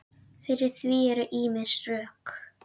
Fyrir því eru ýmis rök.